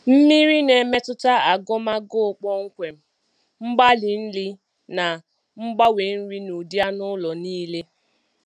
Mmiri na-emetụta agụm agụụ kpọmkwem, mgbari nri, na ngbanwe nri n'ụdị anụ ụlọ niile.